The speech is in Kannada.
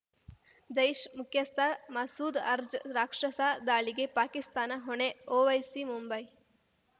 ಜೈಷ್‌ ಮುಖ್ಯಸ್ಥ ಮಸೂದ್‌ ಅರ್ಜ ರಾಕ್ಷಸ ದಾಳಿಗೆ ಪಾಕಿಸ್ತಾನ ಹೊಣೆ ಒವೈಸಿ ಮುಂಬೈ